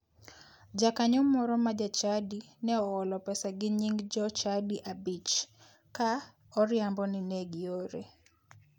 Jakanyo moro ma jachadi ne oholo pesa gi nying jochadi abich ka oriambo ni ne giore.